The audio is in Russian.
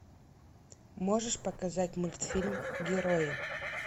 можешь показать мультфильм герои